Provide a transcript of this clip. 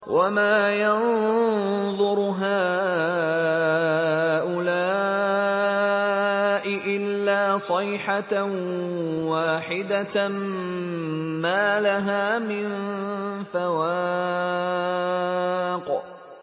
وَمَا يَنظُرُ هَٰؤُلَاءِ إِلَّا صَيْحَةً وَاحِدَةً مَّا لَهَا مِن فَوَاقٍ